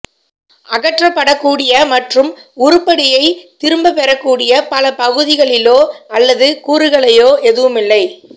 அகற்றப்படக்கூடிய மற்றும் உருப்படியை திரும்பப்பெறக்கூடிய பல பகுதிகளிலோ அல்லது கூறுகளையோ எதுவுமில்லை